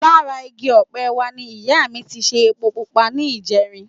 Lára igi ọ̀pẹ wa ni ìyá mi ti ṣe epo pupa ní ìjẹrin